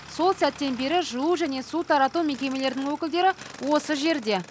сол сәттен бері жылу және су тарату мекемелерінің өкілдері осы жерде